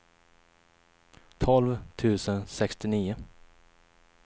tolv tusen sextionio